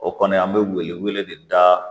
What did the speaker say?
O kɔni an bɛ wele wele de da